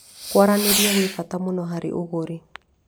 Kwaranĩria kwĩ bata mũno harĩ ũgũri.